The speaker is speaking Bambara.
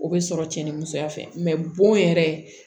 O bɛ sɔrɔ cɛ ni musoya fɛ bon yɛrɛ